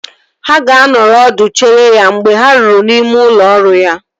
Ha ga-anọrọ ọdụ chere ya mgbe ha ruru n'ime ụlọ ọrụ ya